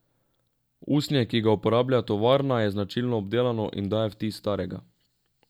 Usnje, ki ga uporablja tovarna, je značilno obdelano in daje vtis starega.